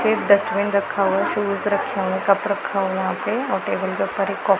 एक डस्टबिन रखा हुआ शूज रखे हुए कप रखा हुआ वहां पे और टेबल के ऊपर एक कप --